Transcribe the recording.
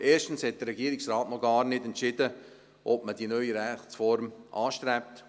Erstens hat der Regierungsrat noch gar nicht entschieden, ob man die neue Rechtsform anstrebt.